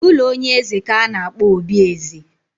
Ụlọ onye eze ka a na-akpọ obi eze